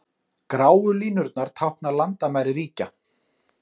Gráu línurnar tákna landamæri ríkja.